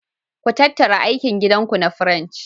Ku tattaru aikin gida ku na French.